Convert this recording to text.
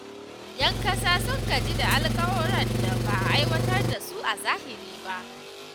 ’Yan kasa sun gaji da alkawurran da ba a aiwatar da su a zahiri ba.